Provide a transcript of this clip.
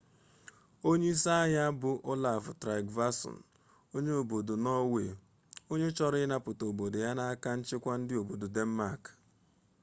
onye isi agha a bụ olaf trygvasson onye obodo nọọwe onye chọrọ ịnapụta obodo ya n'aka nchịkwa ndị obodo denmak